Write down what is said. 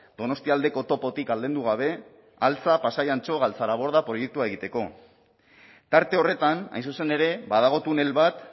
donostialdeko topotik aldendu gabe altza pasai antxo galtzaraborda proiektua egiteko tarte horretan hain zuzen ere badago tunel bat